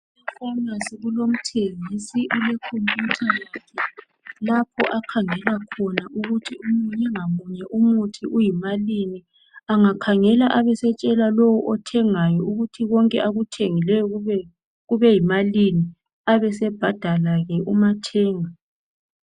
E"pharmacy " kulomthengisi ule khompiyutha yakhe lapho akhangela khona ukuthi munye ngamunye umuthi uyimalini. Angakhangela abesetshela lowo othengayo ukuthi konke akuthengileyo kubeyimalini ,abesebhadala ke umathenga.